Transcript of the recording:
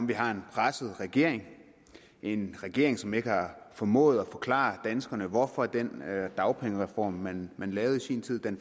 vi har en presset regering en regering som ikke har formået at forklare danskerne hvorfor den dagpengereform man lavede i sin tid